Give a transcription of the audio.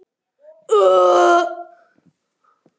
Farið og vekið manninn yðar.